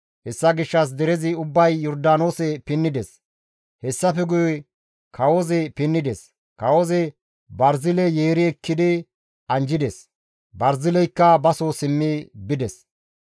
Hessa gishshas derezi ubbay Yordaanoose pinnides; hessafe guye kawozi pinnides. Kawozi Barzile yeeri ekkidi anjjides; Barzileykka baso simmi bides.